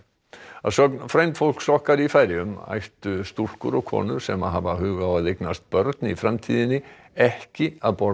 að sögn frændfólks okkar í Færeyjum ættu stúlkur og konur sem hafa hug á að eignast börn í framtíðinni ekki að borða